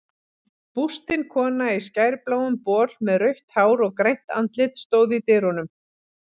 Bústin kona í skærbláum bol með rautt hár og grænt andlit stóð í dyrunum.